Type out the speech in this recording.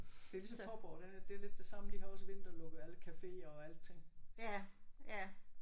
Det er ligesom Faaborg den er det er lidt det samme. De har også vinterlukket alle caféer og alting